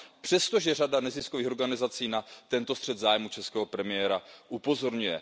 Přestože řada neziskových organizací na tento střet zájmů českého premiéra upozorňuje.